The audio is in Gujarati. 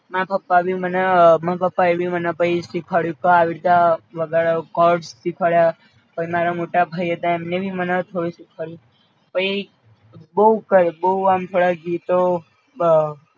મારા પપ્પા ભી મને અ મારા પપ્પા એ ભી મને પઈ શિખવાડ્યું ક આવી રીતે આ વગાડવાનું કોડ્સ શિખવાડ્યા પઈ મારા મોત ભાઈએ તો એમને ભી મને શિખવાડ્યું, પઈ બઉ કરે બઉ આમ થોડા ગીતો